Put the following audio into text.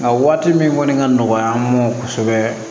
A waati min kɔni ka nɔgɔ an ma kosɛbɛ